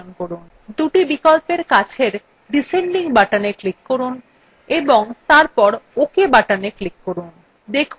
দুটি বিকল্পের কাছের descending button click করুন এবং তারপর ok button click করুন